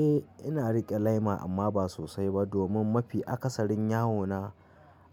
Eh ina riƙe lema amma ba sosai ba domin mafi akasarin yawo na